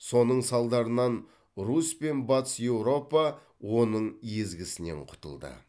соның салдарынан русь пен батыс еуропа оның езгісінен құтылды